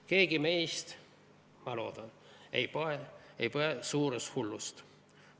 Keegi meist, ma loodan, ei põe suurushullust.